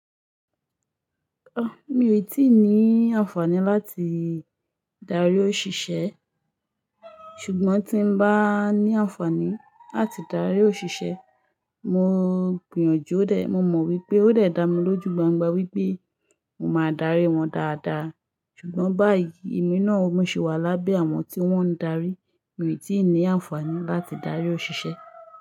Ọ, mi ò tí ì ní àǹfààní láti darí òṣìṣẹ́. Ṣùgbọ́n tí n bá ní àǹfààní láti darí òṣìṣẹ́, mo gbìyànjú ó dè. Mo mọ̀ wípé ó lè dá mi lójú gbangba wípé mo máa darí wọn dáadáa. Ṣùgbọ́n báyìí, èmi náà ò mo sì wà lábẹ́ àwọn tí wọ́n ń darí. Mi ò tí ì ní àǹfààní láti darí òṣìṣẹ́